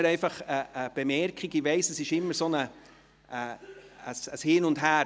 Ich weiss, es ist immer ein Hin und Her.